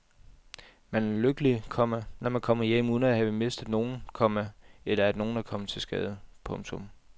Man er lykkelig, komma når man kommer hjem uden at have mistet nogen, komma eller at nogen er kommet til skade. punktum